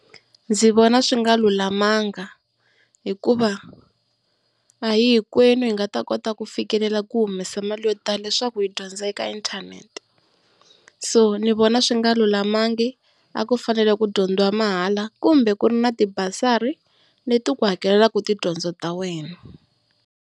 Ndzi vona swi nga lulamanga hikuva a hi hinkwenu hi nga ta kota ku fikelela ku humesa mali yo tala leswaku hi dyondza eka inthanete. So ndzi vona swi nga lulamangi a ku fanele ku dyondziwa mahala kumbe ku ri na tibasari leti ku hakelaka tidyondzo ta wena.